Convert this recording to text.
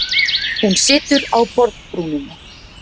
Hún situr á borðbrúninni.